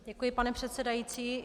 Děkuji, pane předsedající.